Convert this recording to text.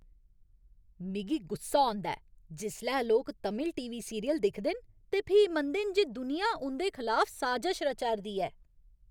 मिगी गुस्सा औंदा ऐ जिसलै लोक तमिल टी. वी. सीरियल दिखदे न ते फ्ही मनदे न जे दुनिया उं'दे खलाफ साजश रचा 'रदी ऐ ।